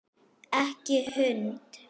Ekki hund!